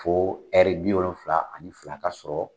Fo bi wolonwulan ani fila ka sɔrɔ.